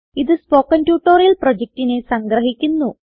ഇതു spoken tutorial പ്രൊജക്റ്റിനെ സംഗ്രഹിക്കുന്നു